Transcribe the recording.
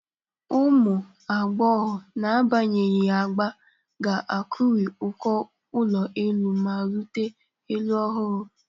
Ụmụ agbọghọ, n'agbanyeghị agba, ga-akụri uko ụlọ elu ma rute elu ọhụrụ.